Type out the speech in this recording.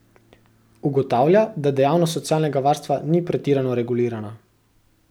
Ugotavlja, da dejavnost socialnega varstva ni pretirano regulirana.